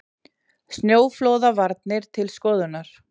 Snjóflóðavarnir til skoðunar